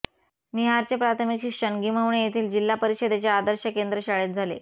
निहारचे प्राथमिक शिक्षण गिम्हवणे येथील जिल्हा परिषदेच्या आदर्श केंद्र शाळेत झाले